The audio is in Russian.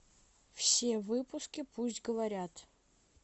все выпуски пусть говорят